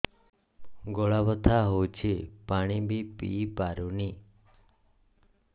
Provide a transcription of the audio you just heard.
ଗଳା ବଥା ହଉଚି ପାଣି ବି ପିଇ ପାରୁନି